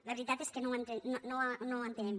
la veritat és que no ho entenem